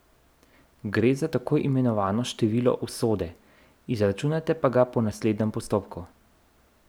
Gre za tako imenovano število usode, izračunate pa ga po naslednjem postopku.